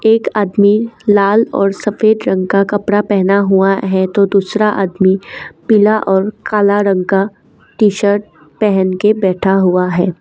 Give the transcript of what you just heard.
एक आदमी लाल और सफेद रंग का कपड़ा पहना हुआ है तो दूसरा आदमी पीला और काला रंग का टी_शर्ट पहन के बैठा हुआ है।